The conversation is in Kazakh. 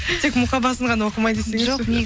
тек мұқабасын ғана оқымай десеңізші